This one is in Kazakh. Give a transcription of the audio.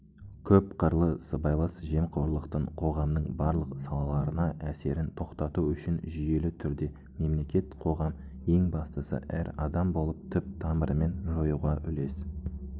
көпқырлы сыбайлас жемқорлықтың қоғамның барлық салаларына әсерін тоқтату үшін жүйелі түрде мемлекет қоғам ең бастысы әр адам болып түп-тамырымен жоюға үлес